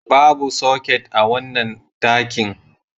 Babu soket a wannan dakin.